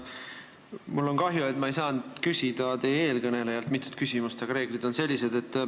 Mul on kahju, et ma ei saanud eelkõnelejalt küsida mitut küsimust, aga reeglid on sellised.